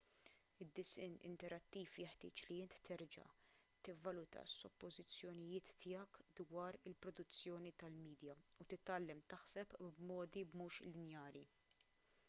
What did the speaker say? id-disinn interattiv jeħtieġ li inti terġa' tivvaluta s-suppożizzjonijiet tiegħek dwar il-produzzjoni tal-midja u titgħallem taħseb b'modi mhux lineari